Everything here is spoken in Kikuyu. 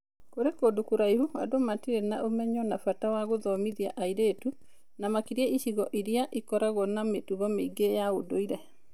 Kũrĩ kũndũ kũraihu andũ matirĩ na ũmenyo na bata wa gũthomithia airĩtu, na makĩria icigo-inĩ iria ikoragwo na mĩtugo mĩingĩ ya ũndũire.